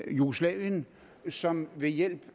jugoslavien som ved hjælp